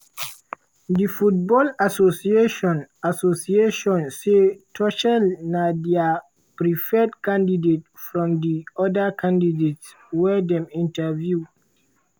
di football association association say tuchel na dia "preferred candidate" from di "oda candidates" wey dem interview.